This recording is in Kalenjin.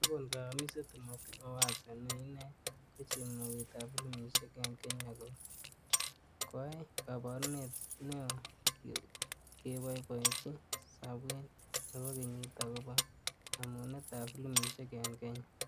Kakon kayamiset Timothy Owase, ne ine ko chemoget ab Filimishek eng Kenya ko-ai kaburunet ne-oo keboiboichi sabwet nebo kenyit akobo nemunet ab filimishek eng kenya.